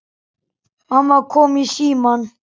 Mamma kom í símann.